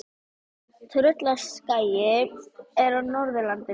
Tröllaskagi er á Norðurlandi.